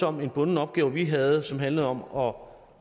om en bunden opgave vi havde som handlede om